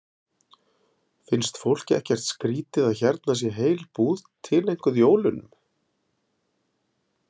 Finnst fólki ekkert skrýtið að hérna sé heil búð tileinkuð jólunum?